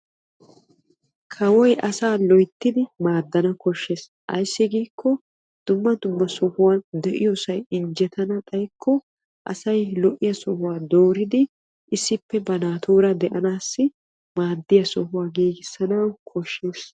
Kawoy asaa loyttiddi maadana koshees ayssi giiko dumma dumma sohuwan de'iyosay injjettanna xayikko asay lo'iya sohuwa dooriddi issippe ba naatura de'anawu maadiya sohuwa giigissanawu koshees.